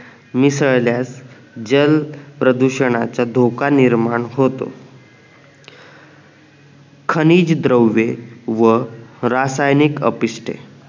मिसळल्यास जल प्रदूषणाच्या धोका निर्माण होतो खनीज द्रव्य व रासायनिक अपिष्टे